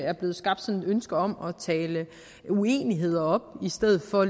er blevet skabt sådan et ønske om at tale uenigheder op i stedet for